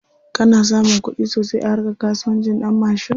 Kana samun kuɗi sosai a harka kasuwancin ɗanmashin?